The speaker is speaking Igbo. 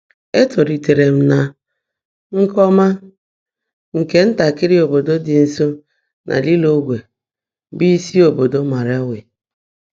Ètóliitéèré m nà Ńkhọ́mà, bụ́ ntàkị́rị́ óbòdò ḍị́ nsó nà Lị́lóńgwè, bụ́ ísi óbòdò Màlawị̀.